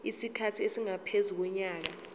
isikhathi esingaphezu konyaka